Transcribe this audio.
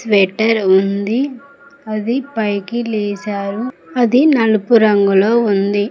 Shutter ఉంది అది పైకి వేశారు అది నలుగురంగులో ఉంది.